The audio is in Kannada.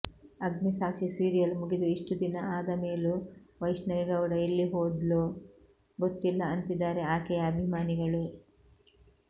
ಅಗ್ನಿಸಾಕ್ಷಿ ಸೀರಿಯಲ್ ಮುಗಿದು ಇಷ್ಟು ದಿನ ಆದಮೇಲೂ ವೈಷ್ಣವಿ ಗೌಡ ಎಲ್ಲಿ ಹೋದ್ಲೋ ಗೊತ್ತಿಲ್ಲ ಅಂತಿದ್ದಾರೆ ಆಕೆಯ ಅಭಿಮಾನಿಗಳು